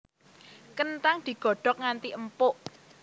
Kenthang digodhog nganti empuk